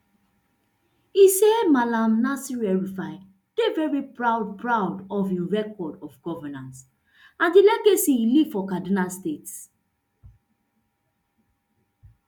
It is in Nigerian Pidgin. e say malam nasir elrufai dey very proud proud of im record of governance and di legacy e leave for kaduna state